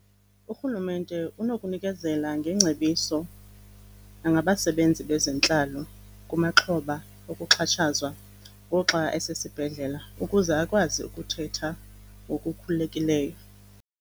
Urhulumente unokunikezela ngeengcebiso nangabasebenzi bezentlalo kumaxhoba okuxhatshazwa ngoxa esesibhedlela ukuze akwazi ukuthetha ngokukhululekileyo.